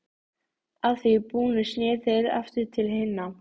Að því búnu sneru þeir aftur til hinna.